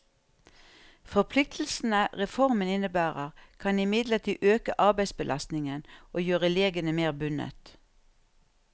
Forpliktelsene reformen innebærer, kan imidlertid øke arbeidsbelastningen og gjøre legene mer bundet.